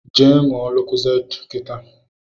Je ṅụọ Lokozade kịta